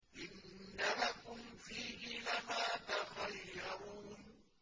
إِنَّ لَكُمْ فِيهِ لَمَا تَخَيَّرُونَ